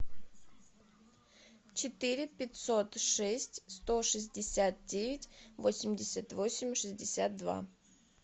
четыре пятьсот шесть сто шестьдесят девять восемьдесят восемь шестьдесят два